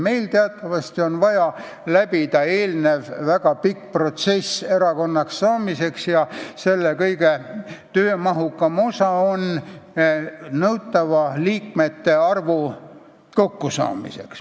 Meil on teatavasti vaja läbi teha eelnev väga pikk protsess erakonnaks saamiseks ja selle kõige töömahukam osa on nõutava liikmete arvu kokkusaamine.